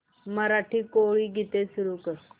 मराठी कोळी गीते सुरू कर